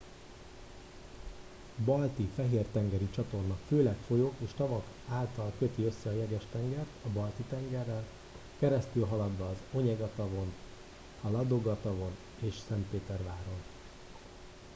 a balti fehér tengeri csatorna főleg folyók és tavak által köti össze a jeges tengert a balti tengerrel keresztülhaladva az onyega tavon a ladoga tavon és szentpéterváron